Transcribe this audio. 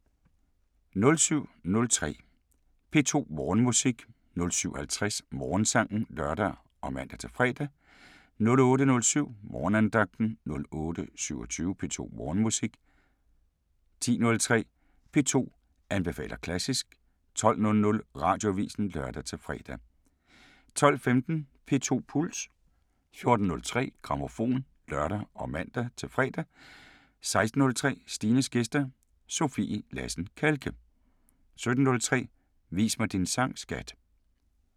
07:03: P2 Morgenmusik 07:50: Morgensangen (lør og man-fre) 08:07: Morgenandagten 08:27: P2 Morgenmusik 10:03: P2 anbefaler klassisk 12:00: Radioavisen (lør-fre) 12:15: P2 Puls 14:03: Grammofon (lør og man-fre) 16:03: Stines gæster – Sofie Lassen Kahlke 17:03: Vis mig din sang, skat!